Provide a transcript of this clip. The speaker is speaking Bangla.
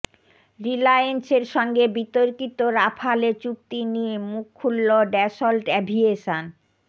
রিলায়েন্সের সঙ্গে বিতর্কিত রাফালে চুক্তি নিয়ে মুখ খুলল ড্যাসল্ট অ্যাভিয়েশন